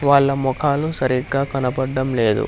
వాళ్ళ మొఖాలు సరిగ్గా కనపడ్డం లేదు.